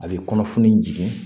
A bɛ kɔnɔfunni jigin